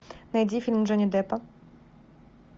найди фильм джонни деппа